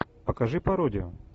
покажи пародию